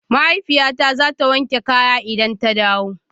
Mahaifiyata zata wanke kaya idan ta dawo